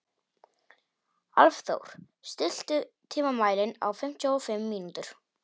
Álfþór, stilltu tímamælinn á fimmtíu og fimm mínútur.